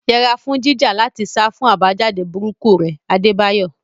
Yẹra fún jíjà láti sá fún àbájáde burúkú rẹ̀, Adebayo.